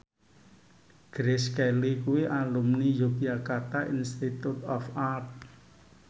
Grace Kelly kuwi alumni Yogyakarta Institute of Art